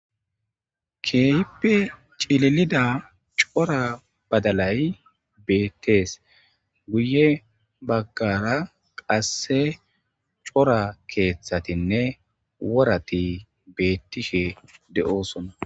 keehippe cilelida cora badalay beettees guye baggara qasse cora keeththatinne worati beettishe de7oosona